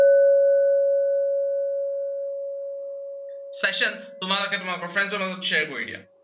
session তোমালোকে তোমালোকৰ friends ৰ লগত share কৰি দিয়া।